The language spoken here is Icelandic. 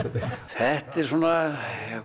þetta er svona